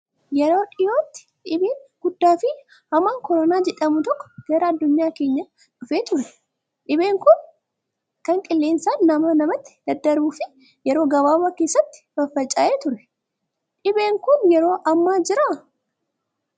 Yeroo dhiyootti dhibeen guddaa fi hamaan koronaa jedhamu tokko gara addunyaa keenyaa dhufee ture. Dhibeen Kun kan qilleensaan namaa namatti daddarbuu fi yeroo gabaabaa keessatti faffaca'ee ture. Dhibeen Kun yeroo ammaa jiraa?